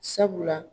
Sabula